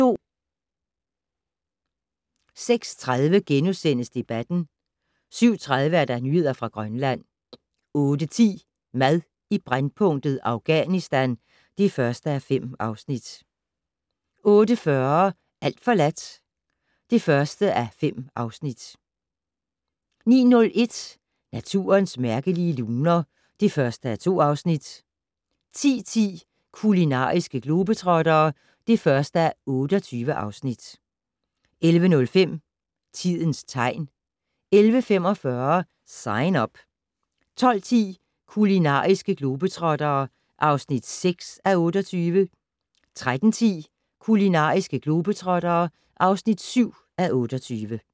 06:30: Debatten * 07:30: Nyheder fra Grønland 08:10: Mad i brændpunktet: Afghanistan (1:5) 08:40: Alt forladt (1:5) 09:01: Naturens mærkelige luner (1:2) 10:10: Kulinariske globetrottere (1:28) 11:05: Tidens tegn 11:45: Sign Up 12:10: Kulinariske globetrottere (6:28) 13:10: Kulinariske globetrottere (7:28)